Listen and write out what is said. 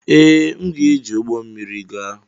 Ee, m ga-eji ụgbọ mmiri gaa.